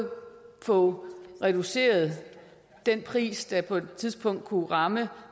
få reduceret den pris der på et tidspunkt kunne ramme